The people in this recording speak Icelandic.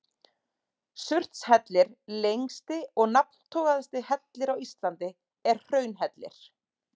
Surtshellir, lengsti og nafntogaðasti hellir á Íslandi, er hraunhellir.